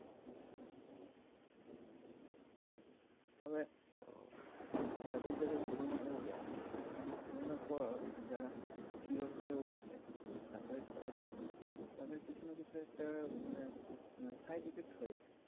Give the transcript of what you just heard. তবে যাদের যাদের করোনা হয়েছে করোনা পর যারা কিওর হয়ে উঠেছে মানে মানে SURVIVE করেছে তাদের কিছু না কিছু একটা মানে side effect হয়েছে